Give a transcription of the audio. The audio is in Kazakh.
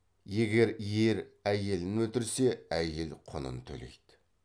егер ері әйелін өлтірсе әйел құнын төлейді